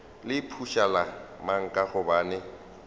le phušula mang ka gobane